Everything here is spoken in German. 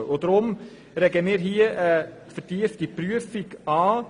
Deshalb regen wir hier eine vertiefte Prüfung an.